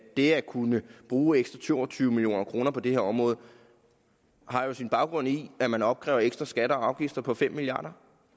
det at kunne bruge ekstra to og tyve million kroner på det her område jo har sin baggrund i at man opkræver ekstra skatter og afgifter på fem milliard